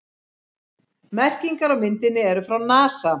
Merkingarnar á myndinni eru frá NASA.